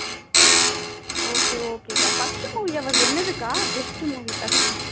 okay okay first movie அவரோடது என்னது அக்கா best movie first